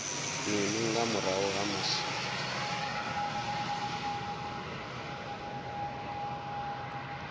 mini nga murahu ha musi